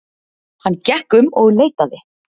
Hann gekk um og leitaði.